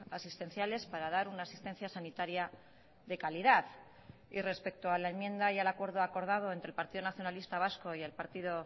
asistenciales para dar una asistencia sanitaria de calidad y respecto a la enmienda y al acuerdo acordado entre el partido nacionalista vasco y el partido